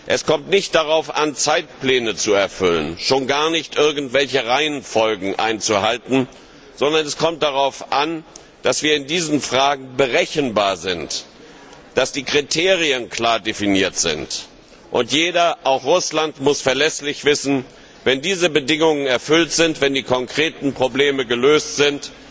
Es kommt nicht darauf an, Zeitpläne zu erfüllen, schon gar nicht, irgendwelche Reihenfolgen einzuhalten, sondern es kommt darauf an, dass wir in diesen Fragen berechenbar sind, dass die Kriterien klar definiert sind, und jeder, auch Russland, muss verlässlich wissen Wenn diese Bedingungen erfüllt sind, wenn die konkreten Probleme gelöst sind,